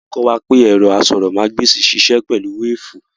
Wọ́n kọ́ wa pé ẹ̀rọ asọ̀rọ̀mágbèsì ń sisẹ́ pẹ̀lú wéfùù